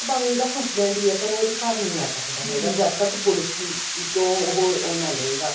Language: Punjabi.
ਭਾਵੇਂ ਉਹਦਾ husband ਹੀ ਹੈ ਪਰ ਉਹ ਉਹਦੇ ਘਰ ਨੀ ਆ ਸਕਦਾ ਜਦ ਤੱਕ ਪੁਲਸ ਤੋਂ ਉਹ ਉਹ ਨਾ ਲੇਗਾ